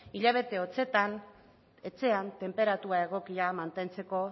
hilabete hotsetan etxean tenperatura egokia mantentzeko